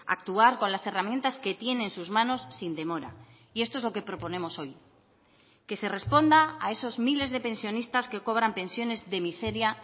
actuar con las herramientas que tiene en sus manos sin demora y esto es lo que proponemos hoy que se responda a esos miles de pensionistas que cobran pensiones de miseria